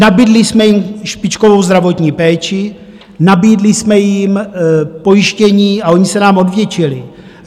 Nabídli jsme jim špičkovou zdravotní péči, nabídli jsme jim pojištění a oni se nám odvděčili.